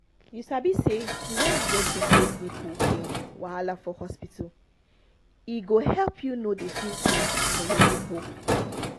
you sabi say when you go treat those nipple pain wahala for hospital e go help you no dey feel pain for your nipple